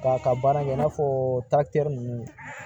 K'a ka baara kɛ i n'a fɔ taktɛri ninnu